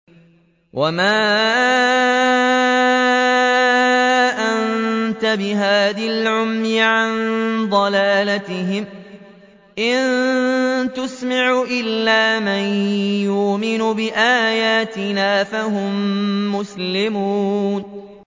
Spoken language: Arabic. وَمَا أَنتَ بِهَادِي الْعُمْيِ عَن ضَلَالَتِهِمْ ۖ إِن تُسْمِعُ إِلَّا مَن يُؤْمِنُ بِآيَاتِنَا فَهُم مُّسْلِمُونَ